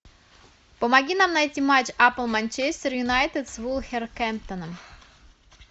помоги нам найти матч апл манчестер юнайтед с вулверхэмптоном